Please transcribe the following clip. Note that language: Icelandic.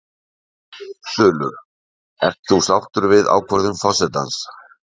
Þulur: Ert þú sáttur við ákvörðun forsetans?